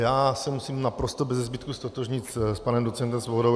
Já se musím naprosto beze zbytku ztotožnit s panem docentem Svobodou.